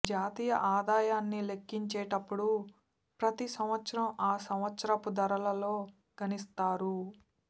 జాతీయ ఆదాయాన్ని లెక్కించేటప్పుడు ప్రతి సంవత్సరం ఆ సంవత్సరపు ధరలలో గణిస్తారు